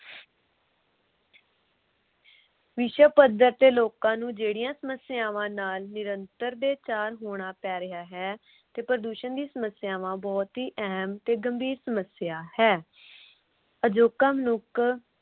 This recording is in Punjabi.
ਵਿਸ਼ਵ ਪੱਧਰ ਤੇ ਜਿਹੜੀਆਂ ਸਮੱਸਿਆਵਾਂ ਨਾਲ ਲੋਕਾਂ ਨੂੰ ਜਿਹੜੀਆਂ ਸਮੱਸਿਆਵਾਂ ਨਾਲ ਨਿਰੰਤਰ ਤੇ ਚਾਰ ਹੋਣਾ ਪੈ ਰਿਹਾ ਹੈ ਤੇ ਪ੍ਰਦੂਸ਼ਣ ਦੀ ਸਮੱਸਿਆਵਾ ਬਹੁਤ ਹੀ ਗੰਭੀਰ ਤੇ ਅਹਿਮ ਸਮੱਸਿਆ ਹੈ। ਅਜੋਕਾ ਮਨੁੱਖ